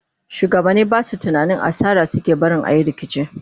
shugabani Basu tunanin asara suke barin ayi rikici?